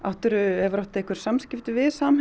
hefurðu átt einhver samskipti við Samherja